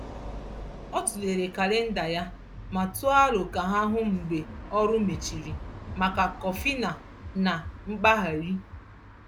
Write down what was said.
Ọ tụlere kalịnda ya ma tụọ aro ka ha hụ mgbe ọrụ mechiri maka kọfị na na mkpagharị.